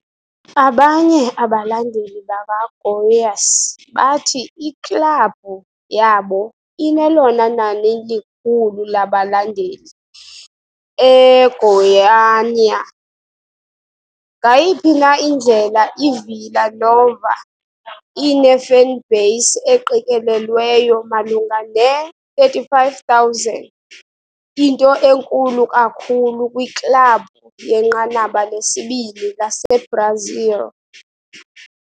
Abanye abalandeli bakaGoiás bathi iklabhu yabo inelona nani likhulu labalandeli eGoiânia. Ngayiphi na indlela iVila Nova ine-fanbase eqikelelweyo malunga ne-35,000, into enkulu kakhulu kwiklabhu yenqanaba lesibini laseBrazil.